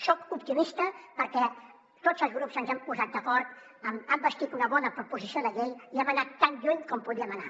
soc optimista perquè tots els grups ens hem posat d’acord hem bastit una bona proposició de llei i hem anat tan lluny com podíem anar